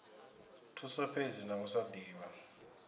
thuso fhedzi vha sa divhi